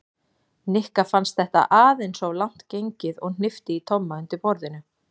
Nikka fannst þetta aðeins of langt gengið og hnippti í Tomma undir borðinu.